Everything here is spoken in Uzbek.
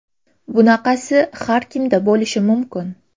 Bunaqasi har kimda bo‘lishi mumkin.